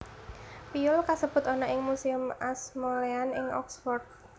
Piyul kasebut ana ing Museum Ashmolean ing Oxford